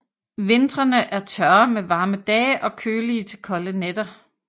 Vintrene er tørre med varme dage og kølige til kolde nætter